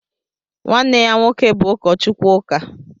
nwanne ya nwoke bụ ụkọchukwu ụka